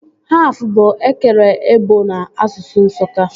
Haf bụ ekere ebọ n'asụsụ Nsụka